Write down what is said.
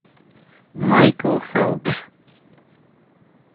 майкл фелпс